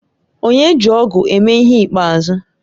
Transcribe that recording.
Onye ji ọ̀gu eme ihe ikpeazụ?